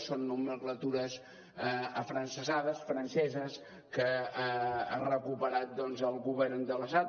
són nomenclatures afrancesades franceses que ha recuperat doncs el govern de l’estat